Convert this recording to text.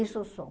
Isso sou.